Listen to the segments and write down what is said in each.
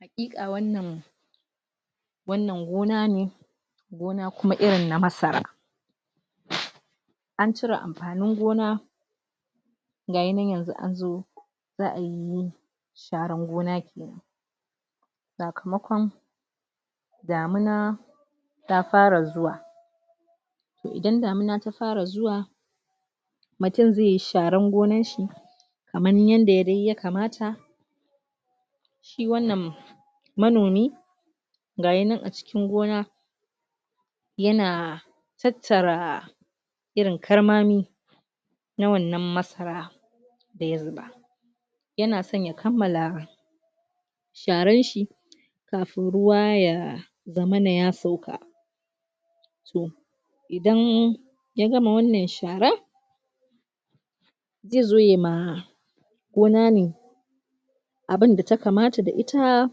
Haƙiƙa wannan wannan gona ne gona kuma irin na masara an cire amfanin gona ga yi nan yanzu an zo zaa yi, sharan gona sakamaƙon damuna ta fara zuwa idan damina ta fara zuwa mutum zai yi sharan gonan shi kaman yadda dai ya kamata shi wannan manomi ga yi nan acikin gona ya na tattara irin ƙarmami na wannan masara da ya zuba ya na so ya kamala sharan shi kafun ruwa ya zamana ya sauka toh, idan ya gama wannan shara zai zo ya ma gona ne abun da ta kamata da ita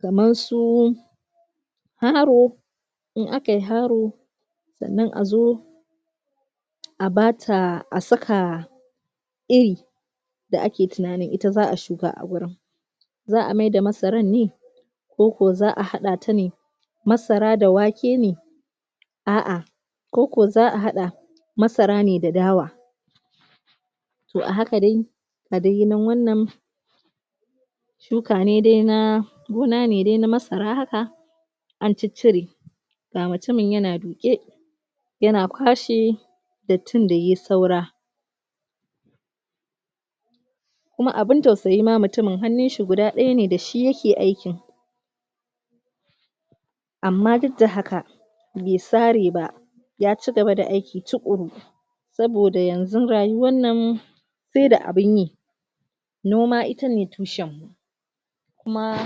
kaman su haro un a ka yi haro sannan a zo a ba ta, a saka a iri da a ke tunani ita zaa shuka a gurin zaa mai da masaran ne ko ko zaa hada ta ne masara da wake ne aah ko ko zaa hadda, masara ne da dawa toh a haka dai, da dai yi na wannan shuka ne dai, na gona ne dai na masara haka an cicire ga mutumin ya na duƙe ya na kwashe, dattin da yayi saura kuma, abun tausayi ma mutumin, hannun shi guda daya ne, da shi ya ke akin amma duk da haka bai tsare ba ya cigaba da aiki cuƙuru saboda yanzu rayuwar nan sai da abun yi noma ita ne tushan kuma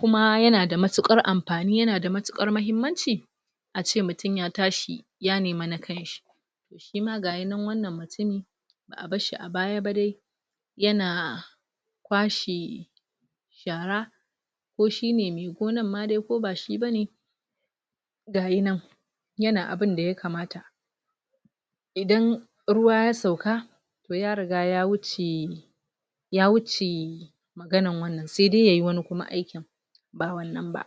kuma ya na da matukar amfani, ya na da matukar mahimmanci a ce mutum ya tashi ya nema na kanshi shi ma ga yi nan wannan mutumin, baa bar shi a ba ya ba dai ya na kwashe shara ko shi ne mai gonan ma dai ko ba shi ba ne ga yi nan, ya na abun da ya kamata idan ruwa ya sauka toh ya riga ya wuce ya wuce maganan wannan sai dai ya yi wanni kuma aikin ba wannan ba.